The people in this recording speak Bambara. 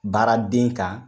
Baaraden kan.